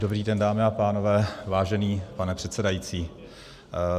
Dobrý den, dámy a pánové, vážený pane předsedající.